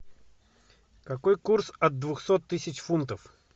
какой курс от двухсот тысяч фунтов